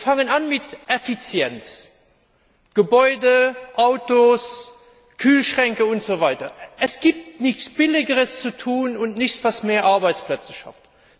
Fangen wir an mit Effizienz Gebäude, Autos, Kühlschränke usw. Es gibt nichts Billigeres und nichts, was mehr Arbeitsplätze schafft.